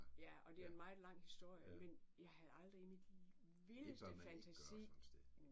Ja og det er en meget lang historie men jeg havde aldrig i min vildeste fantasi